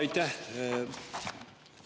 Aitäh!